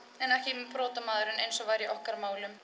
en ekki brotamaðurinn eins og var í okkar málum